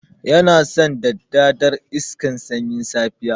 Yana san daddadar iska sanyin safiya.